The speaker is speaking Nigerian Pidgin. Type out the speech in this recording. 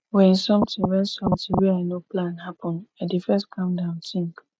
wen sometin wen sometin wey i no plan happen i dey first calm down tink